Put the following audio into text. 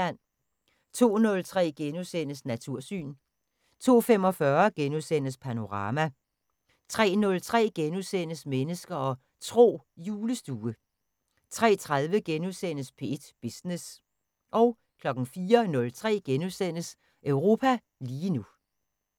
02:03: Natursyn * 02:45: Panorama * 03:03: Mennesker og Tro: Julestue * 03:30: P1 Business * 04:03: Europa lige nu *